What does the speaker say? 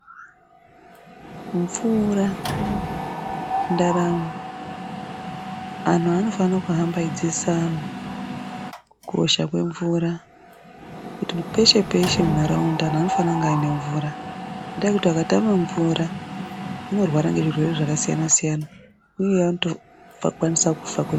Mvura ndaramo anhu anofane kuhamba eidzidzisa antu kukosha kwemvura kuti peshe peshe mu haraunda anhu anofana kunge aine mvura ngekuti akatame mvura vanorwara ngezvirwere zvakasiyana siyana uye anotobva tokwanisa kufa kwemene.